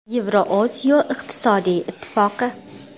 Yevrosiyo iqtisodiy ittifoqi.